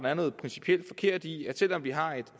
er noget principielt forkert i at selv om vi har